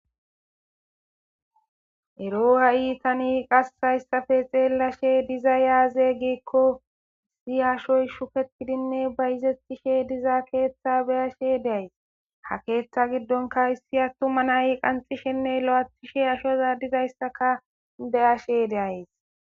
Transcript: Ero tani qas hayisape xelashe dizay aze giiko ashoy shuketidinee bayizetida ketha be'ashe dayis ha ketha gidonika issi atuma na'i qanixishenee loyithishe dizayisaka be'ashe dayis